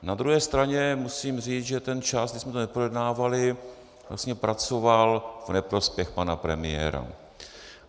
Na druhé straně musím říct, že ten čas, kdy jsme to neprojednávali, vlastně pracoval v neprospěch pana premiéra.